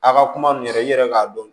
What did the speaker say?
A ka kuma n yɛrɛ i yɛrɛ k'a dɔn